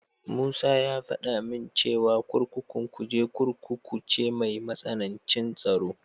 Musa ya faɗa min cewa kurkukun Kuje Kurkuku ce mai matsanancin tsaro.